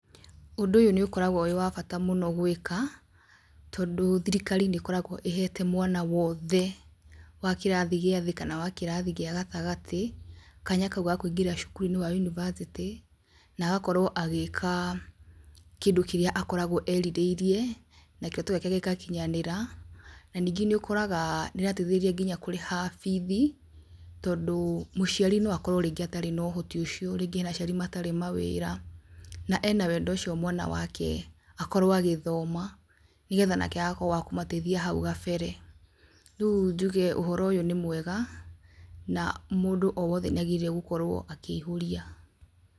Ũndũ ũyũ nĩũkoragwo wĩ wa bata mũno gwĩka, tondũ thirikari nĩkoragwo ĩhete mwana wothe wa kĩrathi gĩa thĩ, kana wa kĩrathi gĩa gatagatĩ, kanya kau ga kũigĩra cukuruinĩ wa university, na agakorwo agĩka kĩndũ kĩrĩa akoragwo erirĩirie, na kĩroto gĩake gĩgakinyanĩra, na ningĩ nĩ ũkoraga nĩarateithirio nginya kũrĩha bithi, tondũ mũciari no akorwo rĩngĩ atarĩ na ũhoti ũcio, ringĩ ena aciari matarĩ mawĩra, na ena wendo ũcio mwana wake akorwo agĩthoma, nĩgetha nake agakorwo wa kũmateithia hau gabere. Rĩũ njuge ũhoro ũyũ nĩ mwega, na mũndũ o wothe nĩagĩrĩire gũkorwo akĩihũria,